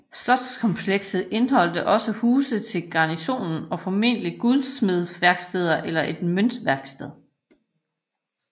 Slotskomplekset indeholdt også huse til garnisonen og formentlig guldsmedeværksteder eller et møntværksted